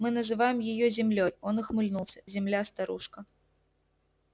мы называем её землёй он ухмыльнулся земля старушка